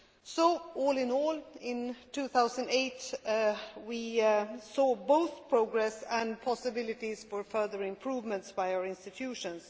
So, all in all, in 2008 we saw both progress and possibilities for further improvements by our institutions.